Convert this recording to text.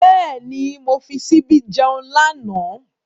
Bẹ́ẹ̀ni, mo fi ṣíbí jẹun lánàá.